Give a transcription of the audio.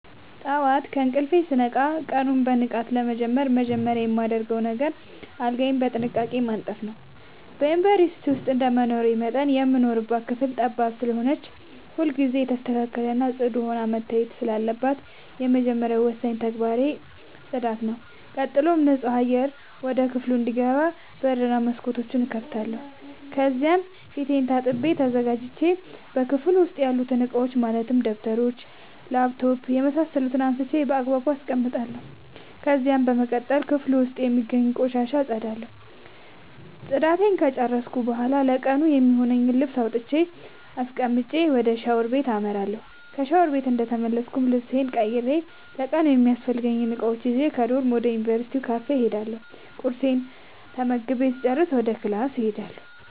ጠዋት ከእንቅልፌ ስነቃ ቀኑን በንቃት ለመጀመር መጀመሪያ የማደርገው አልጋዬን በጥንቃቄ ማንጠፍ ነዉ። በዩንቨርስቲ ዉስጥ እንደመኖሬ መጠን የምንኖርባት ክፍል ጠባብ ስለሆነች ሁልጊዜ የተስተካከለ እና ፅዱ ሆና መታየት ስላለባት የመጀመሪያ እና ወሳኙ ተግባሬ ተግባሬ ነዉ። ቀጥሎም ንፁህ አየር ወደ ክፍሉ እንዲገባ በር እና መስኮት እከፍታለሁ ከዚያም ፊቴን ታጥቤ ተዘጋጅቼ በክፍሉ ዉስጥ ያሉትን እቃዎች ማለትም ደብተሮች: ላፕቶፕ የምሳሰሉትን አንስቼ ባግባቡ አስቀምጣለሁ። ከዚያም በመቀጠል ክፍሉ ዉስጥ የሚገኙትን ቆሻሻ አፀዳለሁ ፅዳቴን እንደጨረስኩ ለቀኑ የሚሆነኝን ልብስ አውጥቼ አስቀምጬ ወደ ሻወር ቤት አመራለሁ። ከሻወር ቤት እንደተመለስኩ ልብሴን ቀይሬ ለቀኑ የሚያስፈልጉኝን እቃዎች ይዤ ከዶርም ወደ ዩንቨርስቲው ካፌ እሄዳለሁ ቁርሴን ተመግቤ ስጨርስ ወደ ክላስ እሄዳለሁ።